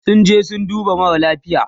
sun je sun dubo mara lafia